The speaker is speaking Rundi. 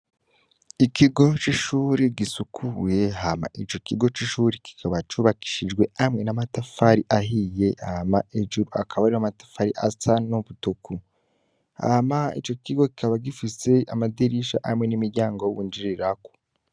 Ikigo c'ishuri gisukuye hama ico kigo c'ishuri kikaba cubakishijwe hamwe n'amatafari ahiye ama ejuru akaba ariro amatafari asa n'ubutuku, hama ico kigo kikaba gifise amadirisha hamwe n'imiryango w'uwunjirirako.